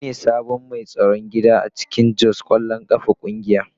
Ni ne sabon mai tsaron gida a cikin Jos kwallon kafa kungiya.